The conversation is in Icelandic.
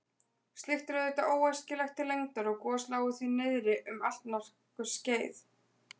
Slíkt er auðvitað óæskilegt til lengdar og gos lágu því niðri um allnokkurt skeið.